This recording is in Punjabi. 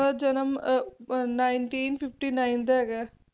ਤੇ ਇਹਨਾਂ ਦਾ ਜਨਮ Nineteen Fifty Nine ਦਾ ਹੈਗਾ